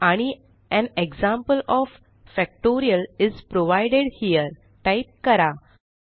आणि an example of factorial is provided here type करा